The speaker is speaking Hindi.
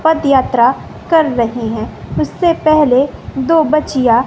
पदयात्रा कर रहे हैं उससे पहले दो बच्चियां--